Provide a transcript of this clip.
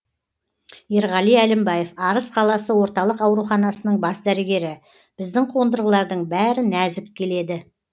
ерғали әлімбаев арыс қаласы орталық ауруханасының бас дәрігері біздің қондырғылардың бәрі нәзік келеді